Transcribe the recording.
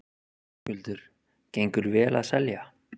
Höskuldur: Gengur vel að selja?